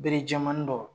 Bere jɛman dɔ